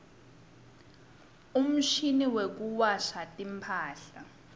umshini wekuwasha timphahla